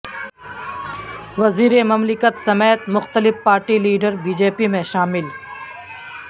وزیر مملکت سمیت مختلف party leader B J P میں شامل